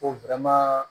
Ko